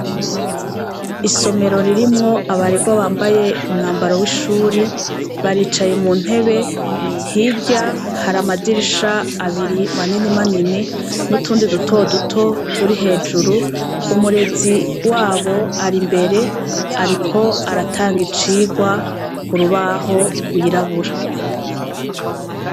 Isomero ririmwo abarerwa bambaye umwambaro wishure baricaye muntebe hirya hari amadirisha abiri manini manini nutundi duto duto turi hejuru umurezi wabo arimbere ariko aratanga icirwa kurubaho rwirabura